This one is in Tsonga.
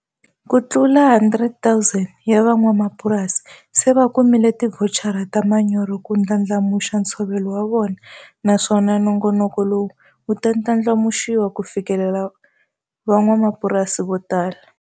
Kutlula 100 000 ya van'wamapurasi se va kumile tivhochara ta manyoro ku ndlandlamuxa ntshovelo wa vona naswona nongonoko lowu wu ta ndlandlamuxiwa ku fikelela van'wamapurasi votala.